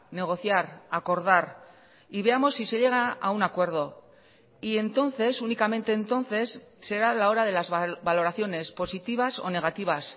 negociar acordar y veamos si se llega a un acuerdo y entonces únicamente entonces será la hora de las valoraciones positivas o negativas